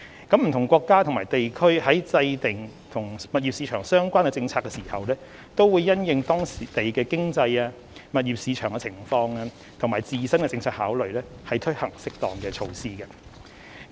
不同國家和地區在制訂與物業市場相關的政策時，均會因應當地的經濟、物業市場情況，以及自身的政策考慮，推行適當的措施。